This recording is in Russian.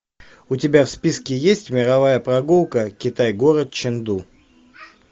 у тебя в списке есть мировая прогулка китай город ченду